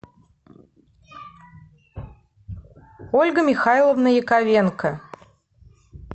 ольга михайловна яковенко